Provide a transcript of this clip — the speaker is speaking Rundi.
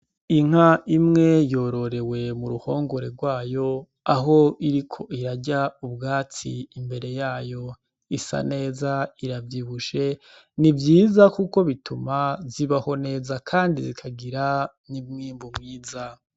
Inka imwe yororewe m'uruhongore rw'ayo aho iriko irarya umbwatsi imbere yayo, isa neza iravyibushe, ni vyiza kuko bituma zibaho neza kandi zikagira n'umwimbu mwiza.